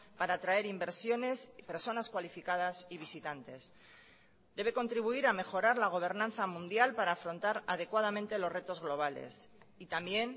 para traer inversiones personas cualificadas y visitantes debe contribuir a mejorar la gobernanza mundial para afrontar adecuadamente los retos globales y también